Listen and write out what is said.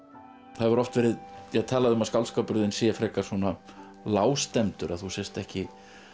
það hefur oft verið talað um að skáldskapur þinn sé frekar svona lágstemmdur að þú sért ekki